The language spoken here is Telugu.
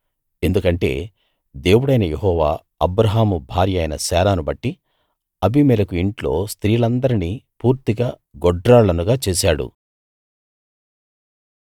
ఎందుకంటే దేవుడైన యెహోవా అబ్రాహాము భార్య అయిన శారాను బట్టి అబీమెలెకు ఇంట్లో స్త్రీలందరినీ పూర్తిగా గొడ్రాళ్ళనుగా చేశాడు